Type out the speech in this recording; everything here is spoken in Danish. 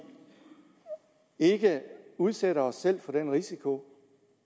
ikke udsætter os selv for den risiko